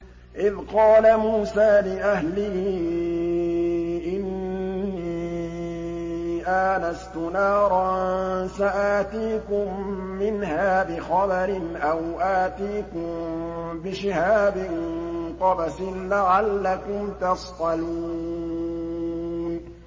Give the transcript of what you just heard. إِذْ قَالَ مُوسَىٰ لِأَهْلِهِ إِنِّي آنَسْتُ نَارًا سَآتِيكُم مِّنْهَا بِخَبَرٍ أَوْ آتِيكُم بِشِهَابٍ قَبَسٍ لَّعَلَّكُمْ تَصْطَلُونَ